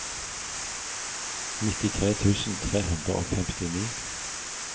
nittitre tusen tre hundre og femtini